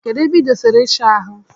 Kedụ ebe idosara isha ahụ?